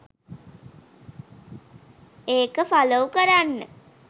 ඒක ෆලොව් කරන්න